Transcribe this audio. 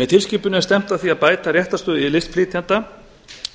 með tilskipuninni er stefnt að því að bæta réttarstöðu listflytjenda